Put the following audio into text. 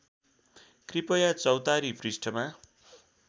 कृपया चौतारी पृष्ठमा